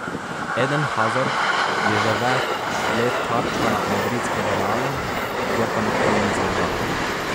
Eden Hazard je že več let tarča madridskega Reala, kjer pa nikoli ni zaigral.